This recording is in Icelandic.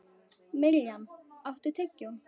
Mirjam, áttu tyggjó?